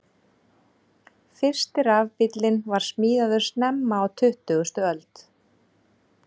Fyrsti rafbíllinn var smíðaður snemma á tuttugustu öld.